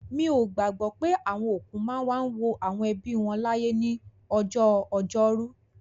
Mi ò gbàgbọ́ pé àwọn òkú máa ń wá wo àwọn ẹbí wọn láyè ní ọjọ́ Ọjọ́rú.